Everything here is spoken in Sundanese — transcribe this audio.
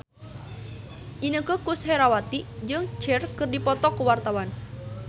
Inneke Koesherawati jeung Cher keur dipoto ku wartawan